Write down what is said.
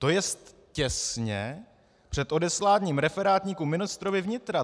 To je těsně před odesláním referátníku ministrovi vnitra.